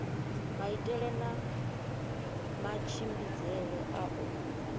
maitele na matshimbidzele a u